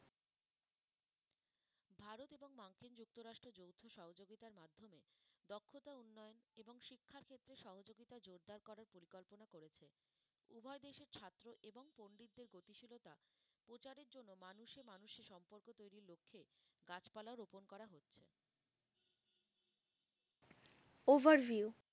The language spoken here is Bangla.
Overview